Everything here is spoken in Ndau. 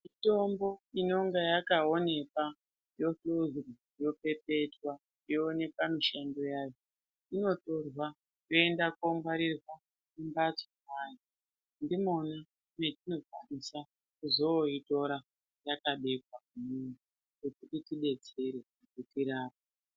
Mitombo inonga yakaonekwa yohluzwa yopepetwa yoonekwa mishando yayo. Inotorwa yoenda kongwarirwa mumbatso mweantu ndimona munokwanisa kuzoitora yakabekwa kuti itibetsere kuti tirapwe.